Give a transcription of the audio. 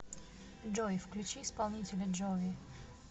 джой включи исполнителя джови